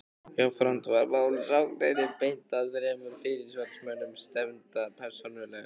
Jafnframt var málssókninni beint að þremur fyrirsvarsmönnum stefnda persónulega.